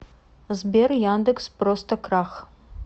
сбер яндекс просто крах